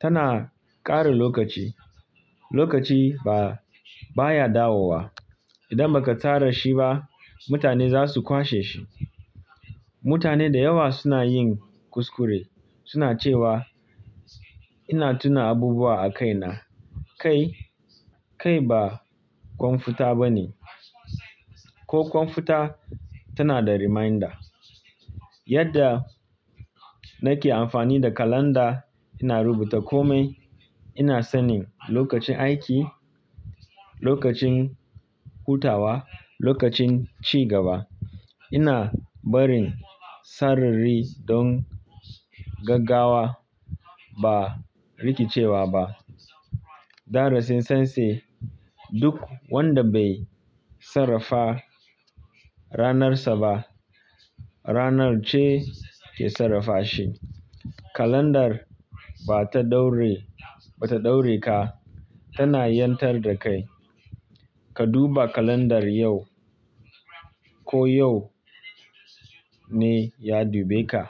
Tana ƙare lokaci. Lokaci ba, baya dawowa. Idan baka tsara shi ba mutane zasu kwasheshi. Mutane da yawa suna yin kuskure suna cewa ina tuna abubuwa a kaina. Kai, kai ba kwamfuta ba ne. Ko kwamfuta tana da reminder. Yadda nake amfani da kalanda ina rubuta kome. Ina sanin lokacin aiki, lokacin hutawa, lokacin cigaba. Ina barin sarari don gaggawa ba rikicewa ba. Da rasin sense duk wanda bai sarrafa ranarsa ba, ranar ce ke sarrafa shi. Kalandar ba ta ɗaure, ba ta ɗaure ka, tana yantar da kai. Ka duba kalandar yau ko yau ne ya dube ka.